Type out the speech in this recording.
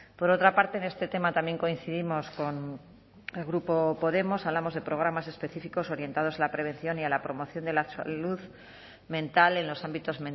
por otra parte en este tema también coincidimos con el grupo podemos hablamos de programas específicos orientados a la prevención y a la promoción de la salud mental en los ámbitos